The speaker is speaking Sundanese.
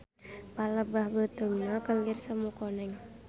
Palebah beuteungna kelir semu koneng.